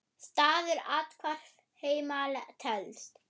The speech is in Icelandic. Staður athvarf heima telst.